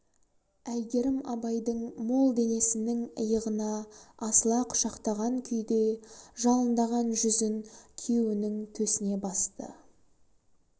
әйгерім абайдың мол денесінің иығына асыла құшақтаған күйде жалындаған жүзін күйеуінің төсіне басты